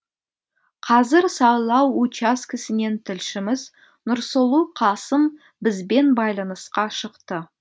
қазір сайлау учаскесінен тілшіміз нұрсұлу қасым бізбен байланысқа шықты